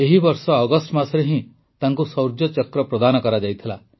ଏହି ବର୍ଷ ଅଗଷ୍ଟ ମାସରେ ହିଁ ତାଙ୍କୁ ଶୌର୍ଯ୍ୟ ଚକ୍ର ପ୍ରଦାନ କରାଯାଇଥିଲା